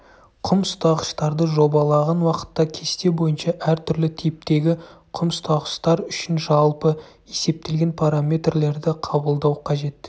құм ұстағыштарды жобалаған уақытта кесте бойынша әртүрлі типтегі құм ұстағыштар үшін жалпы есептелген параметрлерді қабылдау қажет